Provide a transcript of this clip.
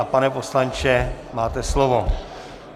A pane poslanče, máte slovo.